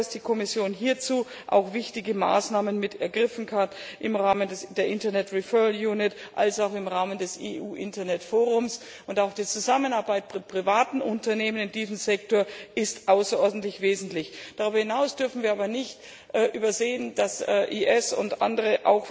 Ich glaube, dass die Kommission hierzu auch wichtige Maßnahmen ergriffen hat im Rahmen der Internet Referral Unit und im Rahmen des EU Internet Forums, und auch die Zusammenarbeit mit privaten Unternehmen in diesem Sektor ist außerordentlich wichtig. Darüber hinaus dürfen wir aber nicht übersehen, dass IS und andere